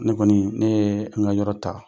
Ne kɔni ne ye an ka yɔrɔ ta.